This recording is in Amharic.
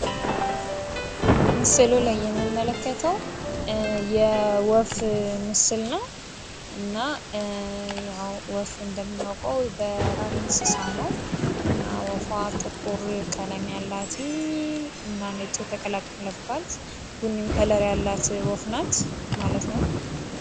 ምስሉ ላይ የምንመለከተዉ የወፍ ምስል ነዉ። እና ያዉ ወፍ እንደምናዉቀዉ በራሪ እንስሳ ነዉ። እና ወፏ ጥቁር ቀለም ያላት እና ነጭ የተቀላቀለባት ቡኒም ከለር ያላት ወፍ ናት ማለት ነዉ።